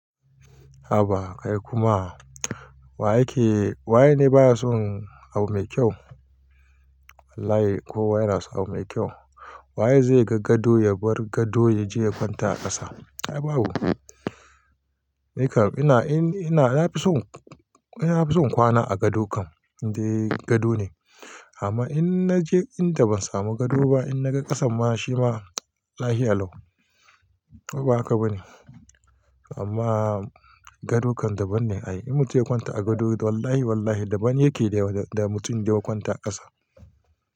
Haba kai kuma. Wa yake, wai ne baya son abu mai kyau? Wallahi kowa yana sun abu mai kyau. Wa ye zai gan gado ya bar gado ya je ya kwanta a ƙasa? Ai babu. Nikam ina, ina, na fi son, ina fi son kwana a gado kam. Ne dai gado ne. Amma in na je inda ban samu gado ba, in na ga ƙasan ma shi ma lahiya lau. Ba haka ba ne. Amma gado kam daban ne ai. In mutum ya kwanta a gado wallahi wallahi daban yake da mutum da ya kwanta a ƙasa.